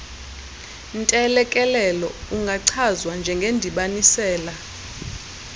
ntelekelelo ungachazwa njengendibanisela